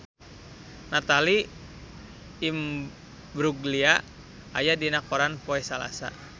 Natalie Imbruglia aya dina koran poe Salasa